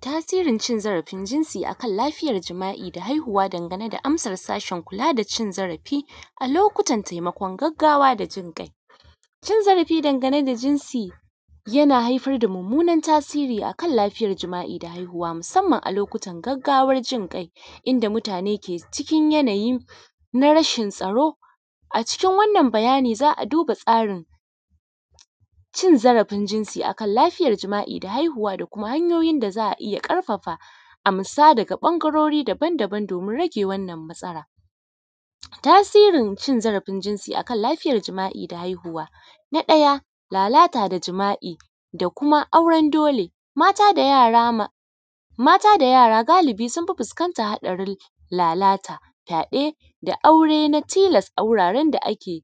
Tasirin cin zarafin jinsi a kan lafiyar jima'i da haihuwa dangane da amsar sashin kula da cin zarafin a lokutan taimakon gaggawa da jinƙai. Cin zarafi dangane da jinsi, yana haifar da mummunan tasiri a kan lafiyar jima'i da haihuwa musamman a lokutan gaggawa. Jinƙai, inda mutane ke cikin yanayi na rashin tsaro. A cikin wannan bayani za a duba tsarin cin zarafin jinsi a kan lafiyar jima'i da haihuwa da kuma hanyoyin da za a iya ƙarfafa amsa daga ɓangarori daban-daban domin rage wannan matsalan. Tasirin cin zarafin jinsi a kan lafiyar jima'i da haihuwa. Na ɗaya, lalata da jima'i, da kuma auren dole, mata da yara ma, mata da yara galibi sun fi fuskantan hadarin lalata, fyaɗe da aure na tilas a wuraren da ake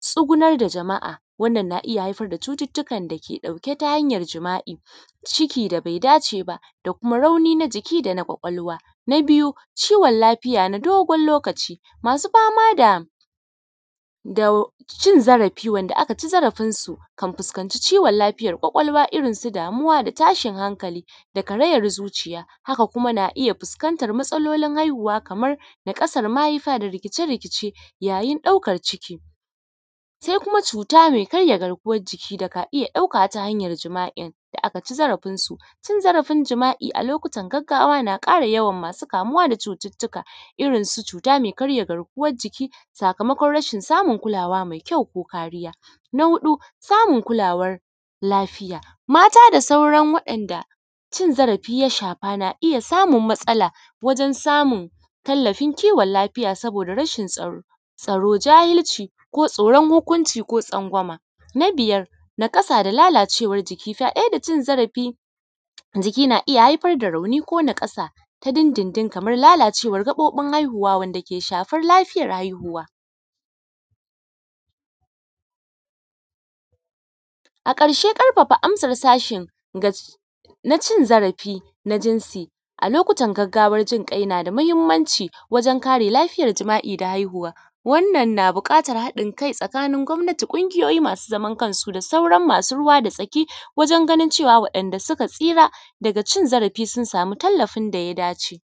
tsugunar da jama'a. Wannan na iya haifar da cututtukan da ke ɗauke ta hanyar jima'i, ciki da bai dace ba, da kuma rauni na jiki da na ƙwaƙwalwa. Na biyu, ciwon lafiya na dogon lokaci. Masu fama da, da cin zarafi wanda aka ci zarafinsu kan fuskanci ciwon lafiyar ƙwaƙwalwa irin su damuwa da tashin hankali da karayan zuciya. Haka kuma na iya fuskantar matsalolin kamar naƙasar mahaifa da rikice-rikice yayin ɗaukar ciki. Sai kuma cuta mai karya garkuwan jiki da ka iya ɗauka ta hanyar jima'in, da aka ci zarafinsu. Cin zarafin jima'i a lokutan gaggawa na ƙara yawan masu kamuwa da cututtuka irin su cuta mai karya garkuwan jiki, sakamakon rashin samun kulawa mai kyau ko kariya. Na huɗu, samun kulawar lafiya. Mata da sauran waɗanda cin zarafi ya shafa na iya samun matsala wajen samun tallafin kiwon lafiya saboda rashin tsaro tsaro, jahilci ko tsoron hukunci ko tsangwama. Na biyar, naƙasa da lalacewar jiki fyaɗe da cin zarafi. Jiki na iya haifar da rauni ko naƙasa ta dundundun kamar lalacewar gaɓoɓin haihuwa wanda ke shafar lafiyar haihuwa A ƙarshe, ƙarfafa amsar sashin ga, na cin zarafi, na jinsi, a lokutan gaggawar jinƙai na jinsi na da muhimmanci wajen kare lafiyar jima'i da haihuwa. Wannan na da buƙatar haɗin kai tsakanin gwammati, ƙungiyoyi masu zaman kansu da sauran masu ruwa da tsaki wajen ganin cewa waɗanda suka tsira daga cin zarafi sun samu tallafin da ya dace.